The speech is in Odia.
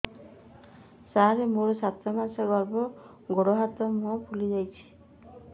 ସାର ମୋର ସାତ ମାସର ଗର୍ଭ ଗୋଡ଼ ହାତ ମୁହଁ ଫୁଲି ଯାଉଛି